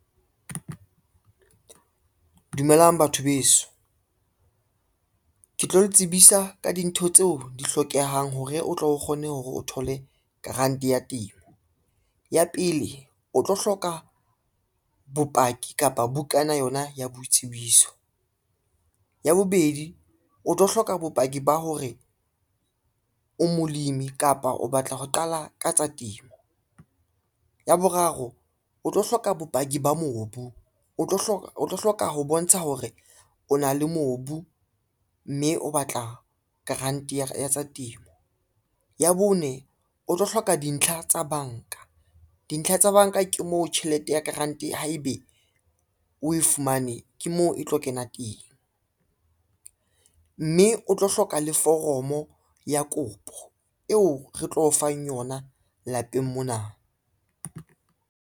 Dumelang batho beso, ke tlo le tsebisa ka dintho tseo di hlokehang hore o tlo kgona hore o thole grant ya temo. Ya pele, o tlo hloka bopaki kapa bukana yona ya boitsebiso. Ya bobedi, o tlo hloka bopaki ba hore o molemi kapa o batla ho qala ka tsa temo. Ya boraro o tlo hloka bopaki ba mobu o tlo hloka ho bontsha hore o na le mobu, mme o batla grant ya tsa temo. Ya bone, o tlo hloka dintlha tsa banka dintlha tsa banka ke moo, tjhelete ya grant haebe o e fumane, ke moo e tlo kena teng, mme o tlo hloka le foromo ya kopo eo re tlo o fang yona lapeng mona.